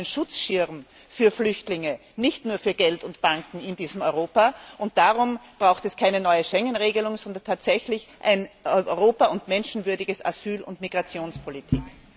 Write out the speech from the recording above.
Wir brauchen einen Schutzschirm für Flüchtlinge nicht nur für Geld und Banken in diesem Europa, und darum brauchen wir keine neue Schengen Regelung, sondern tatsächlich ein Europa und eine menschenwürdige Asyl und Migrationspolitik.